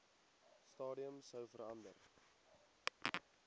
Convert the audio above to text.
stadium sou verander